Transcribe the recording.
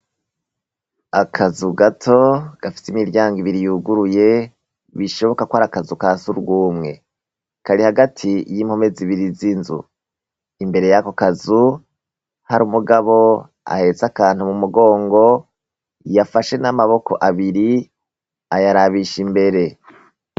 Akazu gato gafise imiryango ibiri yuguruye, bishoboka ko ari akazu ka sugumwe. Kari hagati y'impome zibiri z'inzu. Imbere yako kazu, hari umugabo ahetse akantu mu mugongo, yafashe n'amaboko abiri ayarabisha imbere.